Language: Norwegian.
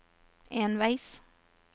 enveis